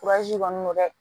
kɔni n'o tɛ